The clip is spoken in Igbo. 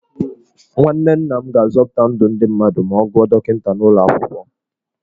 Nwanne nna m ga-azọpụta ndụ ndị mmadụ ma ọ gụọ dọkịta n'ụlọ akwụkwọ.